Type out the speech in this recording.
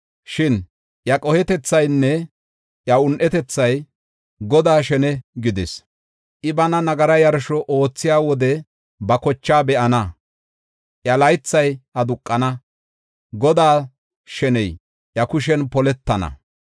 Shin iya qohetethaynne iya un7etethay Godaa shene gidis. I bana nagara yarsho oothiya wode ba kochaa be7ana. Iya laythay aduqana; Godaa sheney iya kushen poletana.